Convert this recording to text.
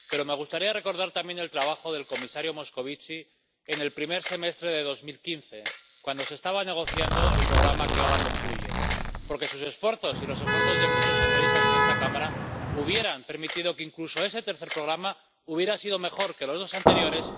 Pero me gustaría recordar también el trabajo del comisario Moscovici en el primer semestre de 2015, cuando se estaba negociando el programa que ahora concluye, porque sus esfuerzos y los esfuerzos de muchos socialistas en esta Cámara hubieran permitido que incluso ese tercer programa hubiera sido mejor que los dos anteriores.